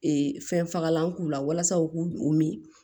fɛnfagalan k'u la walasa u k'u u min